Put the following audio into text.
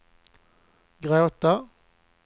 gråta